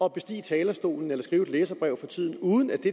at bestige talerstolen eller at skrive et læserbrev uden at det